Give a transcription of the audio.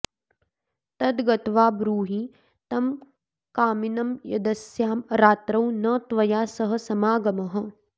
तद्गत्वा ब्रूहि तं कामिनं यदस्यां रात्रौ न त्वया सह समागमः